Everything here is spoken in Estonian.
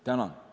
Tänan!